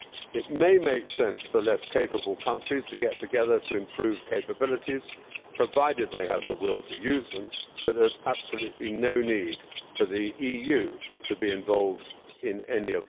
It may make sense for less capable countries to get together to improve capabilities, provided they have the will to use them, but there is absolutely no need for the EU to be involved in any of this.